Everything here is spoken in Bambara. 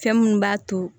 Fɛn minnu b'a to